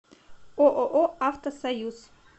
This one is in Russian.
ооо автосоюз